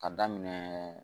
Ka daminɛ